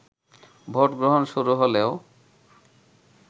vote গ্রহণ শুরু হলেও